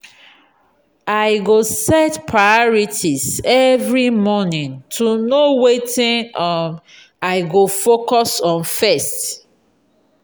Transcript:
i go set priorities every morning to know wetin um i go focus on first.